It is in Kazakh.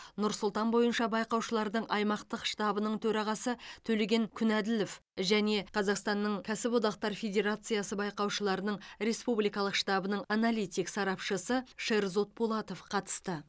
нұр сұлтан бойынша байқаушылардың аймақтық штабының төрағасы төлеген күнәділов және қазақстанның кәсіподақтар федерациясы байқаушыларының республикалық штабының аналитик сарапшысы шерзод пулатов қатысты